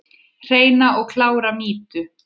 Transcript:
Hreina og klára mýtu?